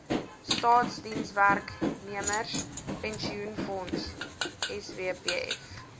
staatsdienswerknemers pensioenfonds swpf